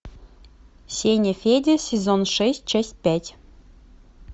сеня федя сезон шесть часть пять